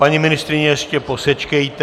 Paní ministryně, ještě posečkejte.